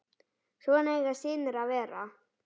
Svona eiga synir að vera.